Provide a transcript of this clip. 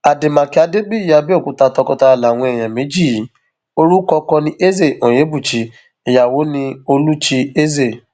àdèmàkè adébíyí abẹòkúta tọkọtaya làwọn èèyàn méjì yìí orúkọ ọkọ ní eze onyebuchi ìyàwó ní olúchi eze